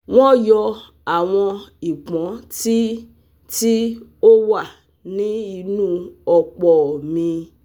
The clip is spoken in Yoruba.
wọ́n yọ́ àwọn ìpọ́n tí tí ó wà ní inú ọ̀pò mi